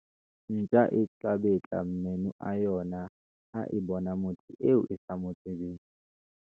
ntja e tla betla meno a yona ha e bona motho eo e sa mo tsebeng